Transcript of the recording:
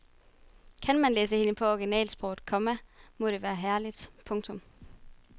Kan man læse hende på originalsproget, komma må det være herligt. punktum